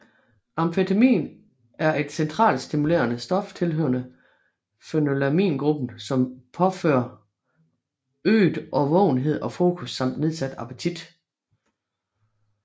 Amfetamin er et centralstimulerende stof tilhørende phenethylamingruppen som medfører øget årvågenhed og fokus samt nedsat appetit